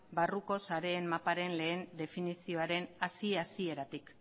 barruko sareen maparen lehen definizioaren hasiera hasieratik